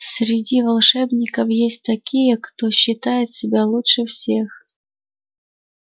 среди волшебников есть такие кто считает себя лучше всех